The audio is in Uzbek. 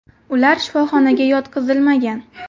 Ular shifoxonaga yotqizilmagan.